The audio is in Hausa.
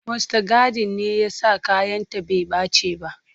Mustagadin ne ya sa kayanta bai ɓace ba.